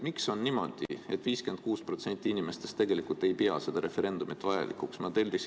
Miks on niimoodi, et 56% inimestest ei pea seda referendumit vajalikuks?